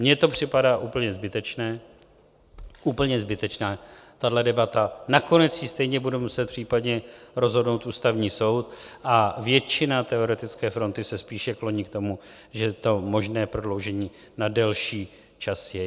Mně to připadá úplně zbytečné, úplně zbytečná tahle debata, nakonec ji stejně bude muset případně rozhodnout Ústavní soud, a většina teoretické fronty se spíše kloní k tomu, že to možné prodloužení na delší čas je.